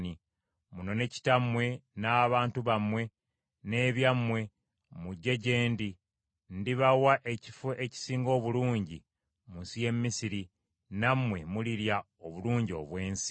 munone kitammwe n’abantu bammwe n’ebyammwe mujje gye ndi, ndibawa ekifo ekisinga obulungi mu nsi y’e Misiri, nammwe mulirya obulungi obw’ensi.’